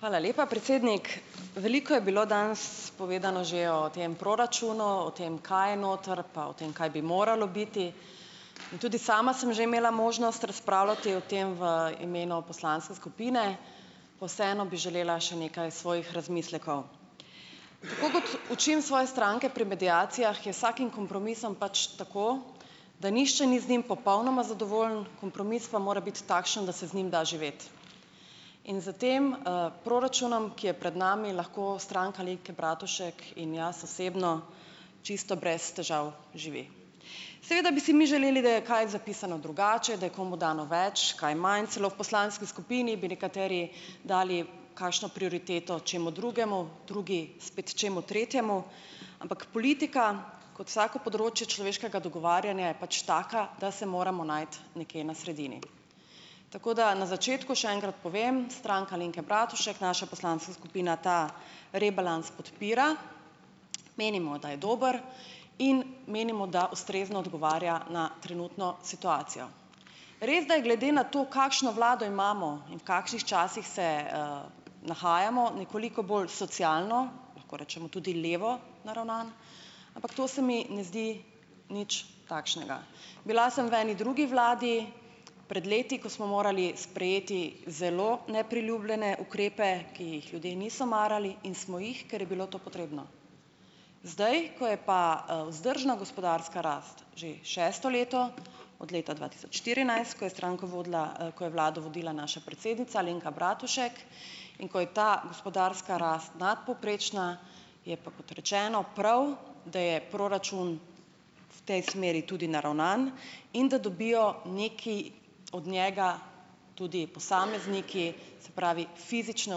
Hvala lepa, predsednik. Veliko je bilo danes povedano že o tem proračunu, o tem kaj je noter, pa o tem kaj bi moralo biti. In tudi sama sem že imela možnost razpravljati o tem v imenu poslanske skupine. Pa vseeno bi želela še nekaj svojih razmislekov. Tako kot učim svoje stranke pri mediacijah, je z vsakim kompromisom pač tako, da nihče ni z njim popolnoma zadovoljen. Kompromis pa mora biti takšen, da se z njim da živeti. In s tem, proračunom, ki je pred nami, lahko Stranka Alenke Bratušek in jaz osebno čisto brez težav živi. Seveda bi si mi želeli, da je kaj zapisano drugače, da je komu dano več, kaj manj, celo v poslanski skupini bi nekateri dali kakšno prioriteto čemu drugemu, drugi spet čemu tretjemu. Ampak politika, kot vsako področje človeškega dogovarjanja je pač taka, da se moramo najti nekje na sredini. Tako da na začetku še enkrat povem, Stranka Alenke Bratušek, naša poslanska skupina ta rebalans podpira. Menimo, da je dober, in menimo, da ustrezno odgovarja na trenutno situacijo. Res, da je glede na to, kakšno vlado imamo in v kakšnih časih se, nahajamo, nekoliko bolj socialno, lahko rečemo tudi levo naravnan, ampak to se mi ne zdi nič takšnega. Bila sem v eni drugi vladi, pred leti, ko smo morali sprejeti zelo nepriljubljene ukrepe, ki jih ljudi niso marali, in smo jih, ker je bilo to potrebno. Zdaj, ko je pa, vzdržna gospodarska rast že šesto leto, od leta dva tisoč štirinajst, ko je stranko vodila, ko je vlado vodila naša predsednica Alenka Bratušek in ko je ta gospodarska rast nadpovprečna, je pa, kot rečeno, prav, da je proračun v tej smeri tudi naravnan in da dobijo nekaj od njega tudi posamezniki, se pravi fizične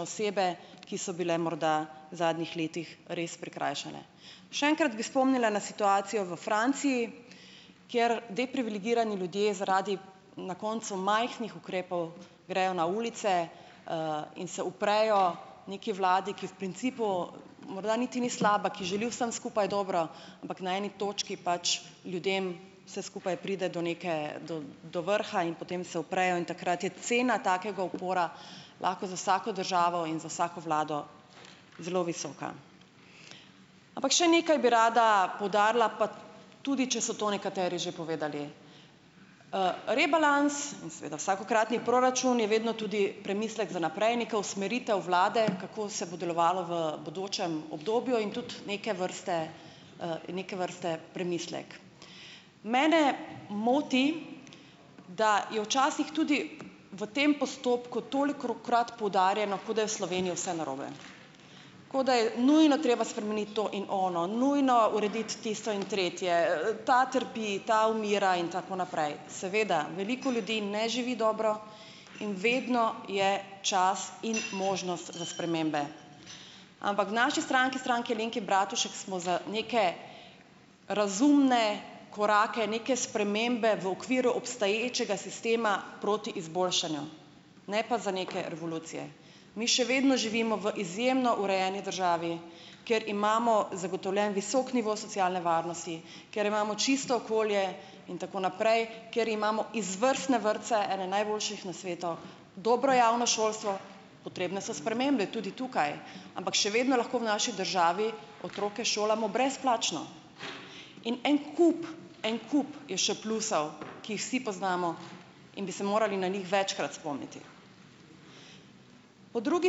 osebe, ki so bile morda zadnjih letih res prikrajšane. Še enkrat bi spomnila na situacijo v Franciji, kjer deprivilegirani ljudje zaradi na koncu majhnih ukrepov grejo na ulice, in se uprejo neki vladi, ki v principu morda niti ni slaba, ki želi vsem skupaj dobro, ampak na eni točki pač ljudem vse skupaj pride do neke, do do vrha in potem se uprejo in takrat je cena takega upora lahko za vsako državo in za vsako vlado zelo visoka. Ampak še nekaj bi rada poudarila, pa tudi če so to nekateri že povedali. Rebalans in seveda vsakokratni proračun je, je vedno tudi premislek za naprej, neka usmeritev vlade, kako se bo delovalo v bodočem obdobju in tudi neke vrste, neke vrste premislek. Mene moti, da je včasih tudi v tem postopku tolikokrat poudarjeno, kot da je v Sloveniji vse narobe. Kot da je nujno treba spremeniti to in ono, nujno urediti tisto in tretje, ta trpi, ta umira in tako naprej. Seveda, veliko ljudi ne živi dobro in vedno je čas in možnost za spremembe. Ampak v naši stranki, Stranki Alenke Bratušek, smo za neke razumne korake, neke spremembe v okviru obstoječega sistema proti izboljšanju, ne pa za neke revolucije. Mi še vedno živimo v izjemno urejeni državi, kjer imamo zagotovljen visok nivo socialne varnosti, kjer imamo čisto okolje in tako naprej, kjer imamo izvrstne vrtce, ene najboljših na svetu, dobro javno šolstvo potrebne so spremembe, tudi tukaj, ampak še vedno lahko v naši državi otroke šolamo brezplačno. In en kup, en kup je še plusov, ki jih vsi poznamo in bi se morali na njih večkrat spomniti. Po drugi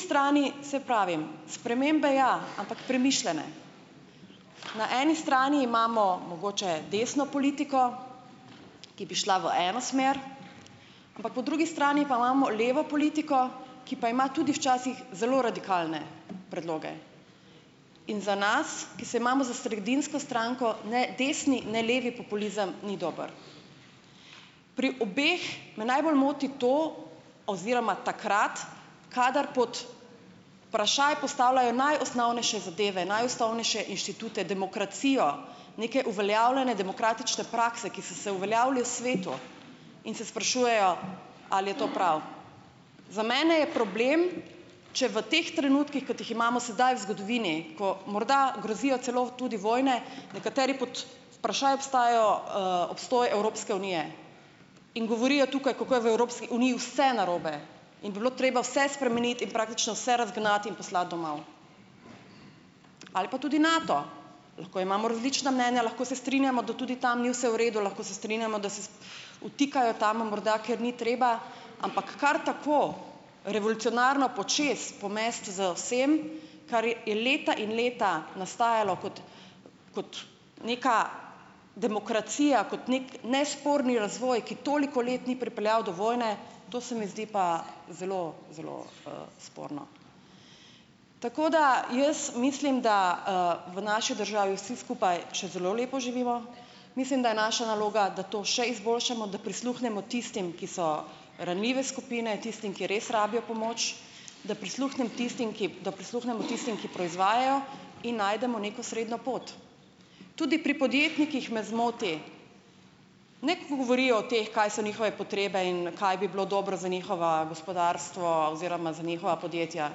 strani, saj pravim, spremembe ja, ampak premišljene. Na eni strani imamo mogoče desno politiko, ki bi šla v eno smer, ampak po drugi strani pa imamo levo politiko, ki pa ima tudi včasih zelo radikalne predloge. In za nas, ki se imamo z sredinsko stranko, ne desni ne levi populizem ni dober. Pri obeh me najbolj moti to oziroma takrat, kadar pod vprašaj postavljajo najosnovnejše zadeve, najosnovnejše inštitute, demokracijo, neke uveljavljene demokratične prakse, ki so se uveljavile v svetu, in se sprašujejo, ali je to prav. Za mene je problem, če v teh trenutkih, kot jih imamo sedaj v zgodovini, ko morda grozijo celo tudi vojne, nekateri pod vprašaj obstajajo, obstoj Evropske unije. In govorijo tukaj, kako je v Evropski uniji vse narobe in bi bilo treba vse spremeniti in praktično vse razgnati in poslati domov. Ali pa tudi Nato, lahko imamo različna mnenja, lahko se strinjamo, da tudi tam ni vse v redu, lahko se strinjamo, da se vtikajo tam morda, kjer ni treba. Ampak kar tako, revolucionarno počez pomesti z vsem, kar je leta in leta nastajalo kot, kot neka demokracija, kot neki nesporni razvoj, ki toliko let ni pripeljal do vojne, to se mi zdi pa zelo, zelo, sporno. Tako da jaz mislim, da, v naši državi vsi skupaj še zelo lepo živimo. Mislim, da je naša naloga, da to še izboljšamo, da prisluhnemo tistim, ki so ranljive skupine, tistim, ki res rabijo pomoč, da prisluhnem tistim, ki, da prisluhnemo tistim, ki proizvajajo, in najdemo neko srednjo pot. Tudi pri podjetnikih me zmoti, ne, ko govorijo o teh, kaj so njihove potrebe in kaj bi bilo dobro za njihovo gospodarstvo oziroma za njihova podjetja.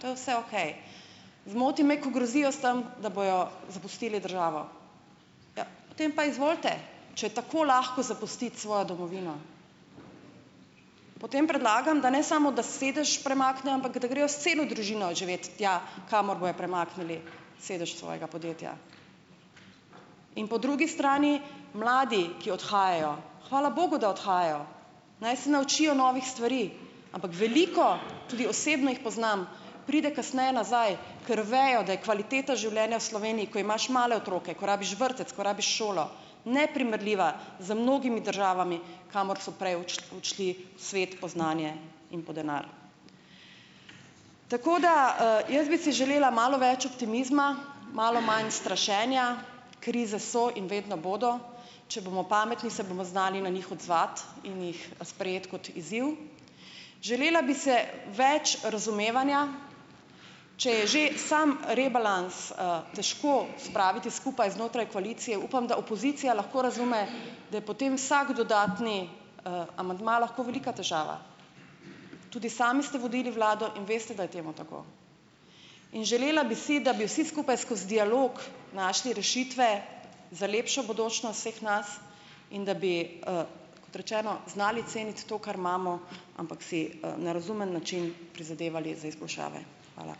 To je vse okej. Zmoti me, ko grozijo s tam, da bojo zapustili državo. Potem pa izvolite. Če je tako lahko zapustiti svojo domovino, potem predlagam, da ne samo, da sedež premaknejo, ampak da grejo s celo družino živet tja, kamor bojo premaknili sedež svojega podjetja. In po drugi strani mladi, ki odhajajo. Hvala bogu, da odhajajo, naj se naučijo novih stvari. Ampak veliko, tudi osebno jih poznam, pride kasneje nazaj, ker vejo, da je kvaliteta življenja v Sloveniji, ko imaš male otroke, ko rabiš vrtec, ko rabiš šolo, neprimerljiva z mnogimi državami, kamor so prej odšli v svet po znanje in po denar. Tako da, jaz bi si želela malo več optimizma, malo manj strašenja, krize so in vedno bodo. Če bomo pametni, se bomo znali na njih odzvati in jih sprejeti kot izziv. Želela bi si več razumevanja. Če je že samo rebalans, težko spraviti skupaj znotraj koalicije, upam, da opozicija lahko razume, da je potem vsak dodatni, amandma lahko velika težava. Tudi sami ste vodili vlado in veste, da je temu tako. In želela bi si, da bi vsi skupaj skoz dialog našli rešitve za lepšo bodočnost vseh nas in da bi, kot rečeno, znali ceniti to, kar imamo, ampak si, na razumen način prizadevali za izboljšave. Hvala.